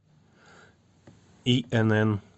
инн